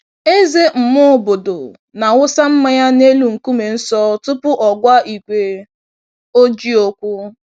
Eze mmụọ obodo na-awụsa mmanya n'elu nkume nsọ tupu ọ gwa igwe ojii okwu